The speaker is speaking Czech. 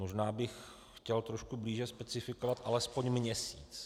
Možná bych chtěl trošku blíže specifikovat alespoň měsíc.